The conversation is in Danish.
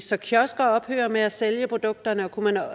så kiosker ophører med at sælge produkterne og kunne